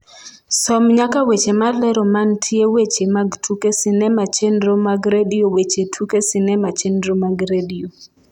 som nyaka weche malero mantie weche mag tuke sinema chenro mag redio weche tuke sinema chenro mag redio